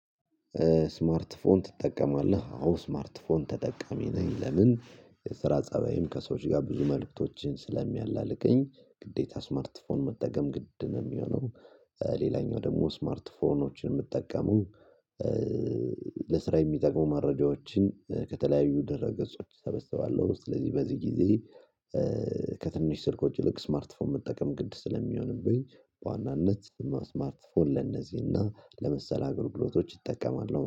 ስማርት ፎን ትጠቀማለህ አዎ ስማርት ፎን ተጠቀሚ ነኝ ለምን የስራ ፀባይም ከሰዎች ጋር ብዙ መልእክቶችን ስለሚያላልቀኝ ግዴታ ስማርት ፎን መጠገም ግድ ነው የሚሆነው። ሌላኛው ደግሞ ስማርት ፎኖችን የምትጠቀሙ ለስራ የሚጠቅሙ መረጃዎችን ከተለያዩ ደህረ ገጾች እሰበስባለሁ። ስለዚህ በዚህ ጊዜ ከትንሽ ስልክ ወጪ ልክ ስማርት ፎም መጠቀም ግድ ስለሚሆንብኝ። በዋናነት ስማርት ፎር ለነዚህና ለመሰለ አገልግሎቶች እጠቀማለሁ